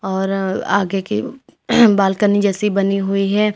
और आगे की बालकनी जैसी बनी हुई है।